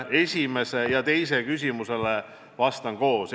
Esimesele ja teisele küsimusele vastan koos.